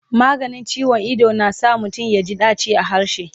maganin ciwon Ido na sa mutum yaji daci a harshe